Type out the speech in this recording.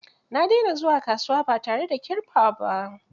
Na dena zuwa kasuwa ba tare da kirfa ba